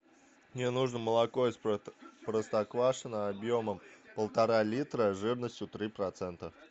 мне нужно молоко из простоквашино объемом полтора литра жирностью три процента